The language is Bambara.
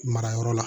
Mara yɔrɔ la